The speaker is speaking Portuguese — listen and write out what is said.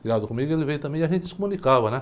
Criado comigo, ele veio também e a gente se comunicava, né?